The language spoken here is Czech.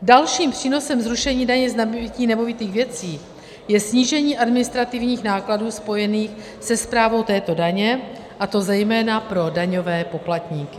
Dalším přínosem zrušení daně z nabytí nemovitých věcí je snížení administrativních nákladů spojených se správou této daně, a to zejména pro daňové poplatníky.